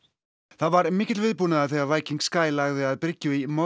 það var mikill viðbúnaður þegar Viking lagði að bryggju í